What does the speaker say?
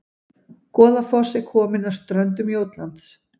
Goðafoss er komin að ströndum Jótlands